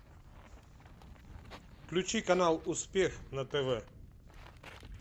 включи канал успех на тв